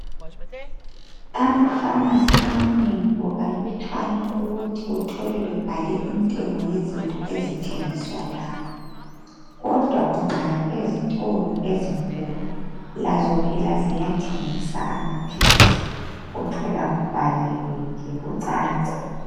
Ama"pharmacy" amanengi kukalutshwana ukuthi uthole bebhale intengo yezinto ezithengiswa lapha kodwa ungaya ezitolo ezinkulu lazo phela ziyathengisa amaphilisi, uthola nje kubhaliwe kucaca.